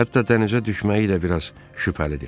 Hətta dənizə düşməyi də biraz şübhəlidir.